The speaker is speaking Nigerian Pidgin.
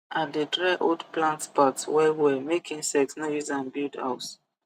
i dey dry old plant part wellwell make insect no use am build house